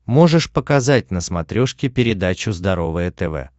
можешь показать на смотрешке передачу здоровое тв